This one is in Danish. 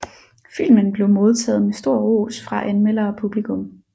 Filmen blev modtaget med stor ros fra anmeldere og publikum